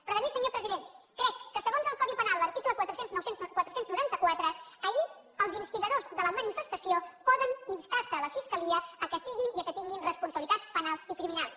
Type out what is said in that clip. però a més senyor president crec que segons el codi penal l’article quatre cents i noranta quatre ahir els instigadors de la manifestació pot instar se a la fiscalia que siguin i que tinguin responsabilitats penals i criminals